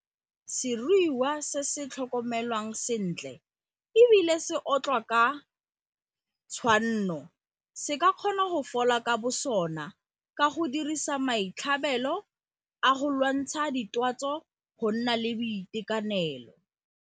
Seruiwa se se tlhokomelwang sentle e bile se otlwa ka tshwanno se ka kgona go fola ka bosona ka go dirisa maitlhabelo a sona go lwantsha ditwatsi go nna le boitekanelo!